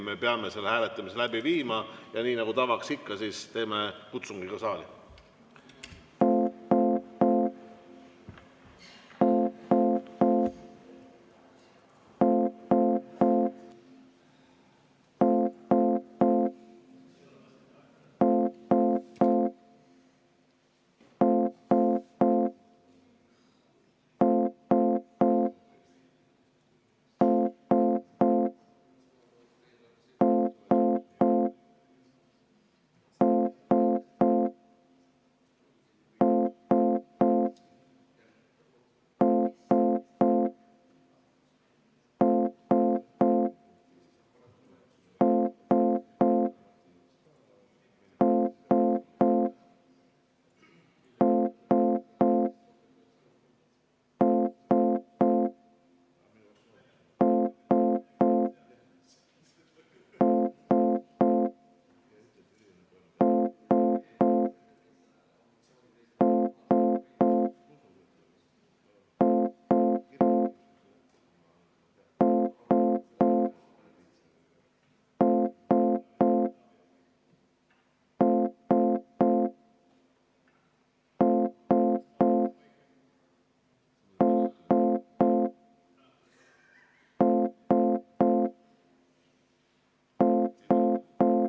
Me peame selle hääletamise läbi viima ja nii nagu tavaks, teeme ka saalikutsungi.